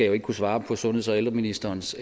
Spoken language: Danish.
jo ikke kunne svare på sundheds og ældreministerens